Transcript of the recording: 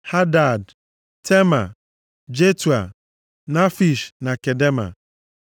Hadad, Tema, Jetua, Nafish na Kedema.